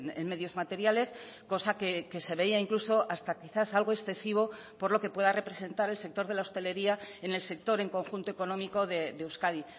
en medios materiales cosa que se veía incluso hasta quizás algo excesivo por lo que pueda representar el sector de la hostelería en el sector en conjunto económico de euskadi